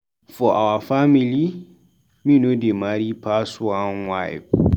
For our family, me no dey marry pass one wife.